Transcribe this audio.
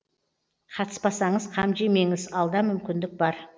қатыспасаңыз қам жемеңіз алда мүмкіндік бар